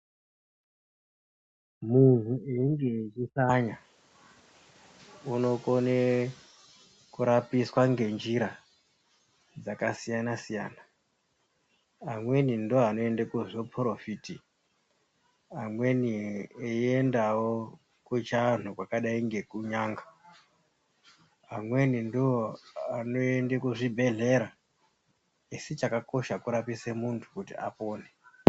Muntu einge eihlanya unokone kurapiswa ngenjira dzakasiyana siyana. Amweni ndiwo anoende kuzviporofiti amweni eiendawo kuchiantu kwakadai ngekunyanga. Amweni ndoanoenda kuzvibhedhlera, asi chakakosha kurapisa muntu kuti apone.